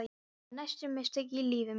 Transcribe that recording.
Þetta eru stærstu mistök í lífi mínu.